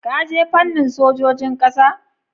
Ka je fannin sojojin ƙasa?